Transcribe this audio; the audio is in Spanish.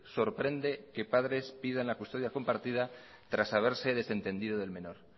sorprende que padres pidan la custodia compartido tras haberse desentendido del menor